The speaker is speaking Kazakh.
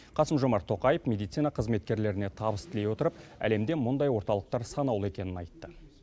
қасым жомарт тоқаев медицина қызметкерлеріне табыс тілей отырып әлемде мұндай орталықтар санаулы екенін айтты